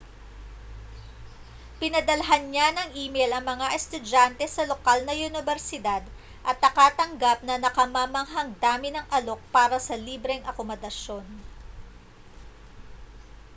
pinadalhan niya ng email ang mga estudyante sa lokal na unibersidad at nakatanggap ng nakamamanghang dami ng alok para sa libreng akomodasyon